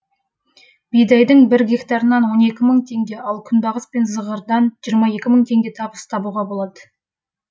бидайдың бір гектарынан мың теңге ал күнбағыс пен зығырдан мың теңге табыс табуға болады